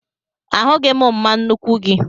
Ahụghị m mma nnuku gị